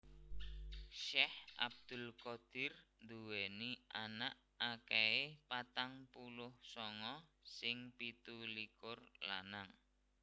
Syekh Abdul Qadir nduwèni anak akèhé patang puluh sanga sing pitulikur lanang